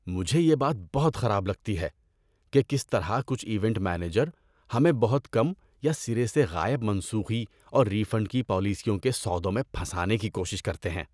مجھے یہ بات بہت خراب لگتی ہے کہ کس طرح کچھ ایونٹ مینیجر ہمیں بہت کم یا سرے سے غائب منسوخی اور ری فنڈ کی پالیسیوں کے سودوں میں پھنسانے کی کوشش کرتے ہیں۔